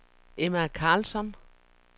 Emma Karlsson